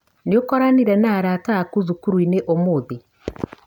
Nĩũkoranire na arata aku cukuruinĩ ũmũthĩ?